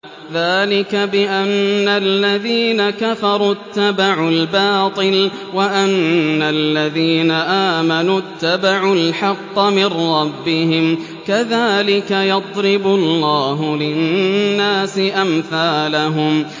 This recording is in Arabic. ذَٰلِكَ بِأَنَّ الَّذِينَ كَفَرُوا اتَّبَعُوا الْبَاطِلَ وَأَنَّ الَّذِينَ آمَنُوا اتَّبَعُوا الْحَقَّ مِن رَّبِّهِمْ ۚ كَذَٰلِكَ يَضْرِبُ اللَّهُ لِلنَّاسِ أَمْثَالَهُمْ